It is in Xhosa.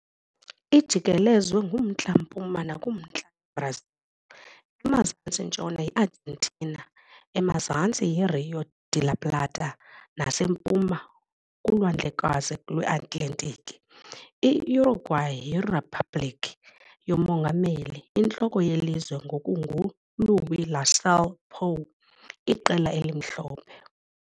Ijikelezwe kumntla-mpuma nakumantla yiBrazil, emazantsi-ntshona yiArgentina, emazantsi yiRío de la Plata nasempuma kuLwandlekazi lweAtlantiki. I-Uruguay yiriphabliki yomongameli, intloko yelizwe ngoku nguLuís Lacalle Pou Iqela eliMhlophe.